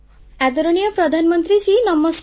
ଆଦରଣୀୟ ପ୍ରଧାନମନ୍ତ୍ରୀ ନମସ୍କାର